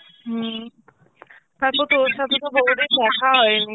হম তারপর তোর সাথে তো বহুদিন দেখা হয়নি.